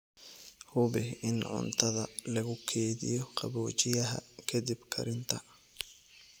Hubi in cuntada lagu keydiyo qaboojiyaha ka dib karinta.